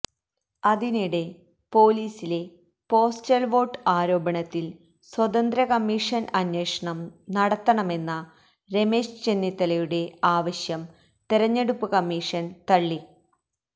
അതിനിടെ പൊലിസിലെ postal vote ആരോപണത്തിൽ സ്വതന്ത്ര കമീഷൻ അന്വേഷണം നടത്തണമെന്ന രമേശ് ചെന്നിത്തലയുടെ ആവശ്യം തെരഞ്ഞെടുപ്പ് കമ്മീഷന് തള്ളി